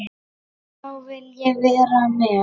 Þá vil ég vera með.